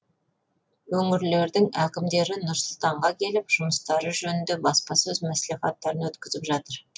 өңірлердің әкімдері нұр сұлтанға келіп жұмыстары жөнінде баспасөз мәслихаттарын өткізіп жатыр